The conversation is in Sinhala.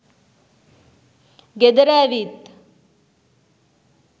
ගෙදර ඇවිත්